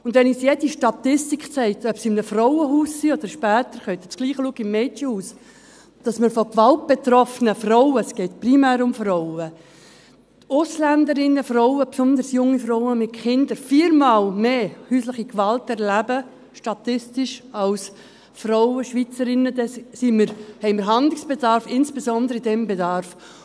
Und wenn uns jede Statistik zeigt, ob sie in einem Frauenhaus sind, oder später können Sie dasselbe im Mädchenhaus sehen, dass unter den gewaltbetroffenen Frauen – es geht primär um Frauen – Ausländerinnen, besonders junge Frauen mit Kindern, statistisch viermal mehr häusliche Gewalt erleben als Schweizerinnen, dann haben wir Handlungsbedarf, insbesondere in diesem Bereich.